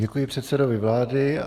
Děkuji předsedovi vlády.